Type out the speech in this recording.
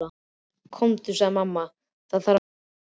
Komdu, sagði mamma, það þarf að skipta á þér.